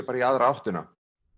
í aðra áttina